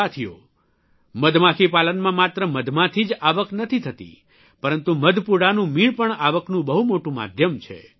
સાથીઓ મધમાખી પાલનમાં માત્ર મધમાંથી જ આવક નથી થતી પરંતુ મધપૂડાનું મીણ પણ આવકનું બહુ મોટું માધ્યમ છે